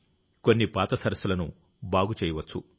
కొన్ని పాత సరస్సులను బాగు చేయవచ్చు